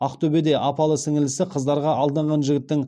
ақтөбеде апалы сіңілісі қыздарға алданған жігіттің